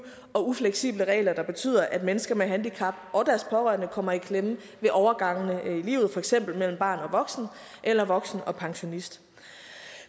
og ufleksible regler der betyder at mennesker med handicap og deres pårørende kommer i klemme ved overgangene i livet for eksempel mellem barn og voksen eller voksen og pensionist